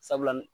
Sabula ni